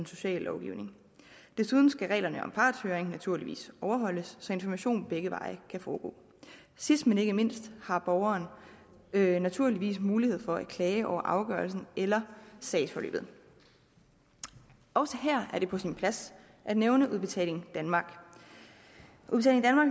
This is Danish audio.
sociallovgivningen desuden skal reglerne om partshøring naturligvis overholdes så information begge veje sidst men ikke mindst har borgeren naturligvis mulighed for at klage over afgørelsen eller sagsforløbet også her er det på sin plads at nævne udbetaling danmark